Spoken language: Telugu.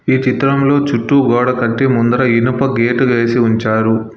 ఈ చిత్రంలో చుట్టూ గోడ కట్టి ముందర ఇనుప గేటు వేసి ఉంచారు.